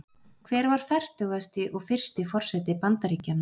Hver var fertugasti og fyrsti forseti Bandaríkjanna?